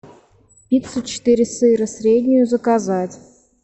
пиццу четыре сыра среднюю заказать